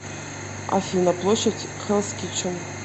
афина площадь хеллс китчен